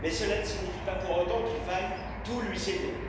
Mais cela ne signifie pas pour autant qu'il faille tout lui céder.